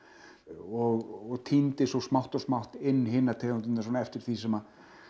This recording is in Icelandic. og tíndi svo smátt og smátt inn hinar tegundirnar eftir því sem